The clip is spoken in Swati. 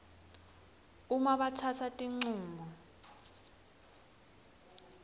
uma batsatsa tincumo